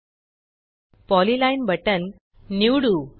polyline polyline button निवडू